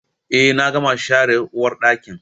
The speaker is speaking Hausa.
Eh na gama share uwarɗakin